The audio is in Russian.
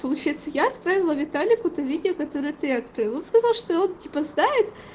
получается я отправила виталику ты видео которое ты отправил с того что он типа знает